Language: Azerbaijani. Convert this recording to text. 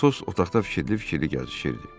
Atos otaqda fikirli-fikirli gəzişirdi.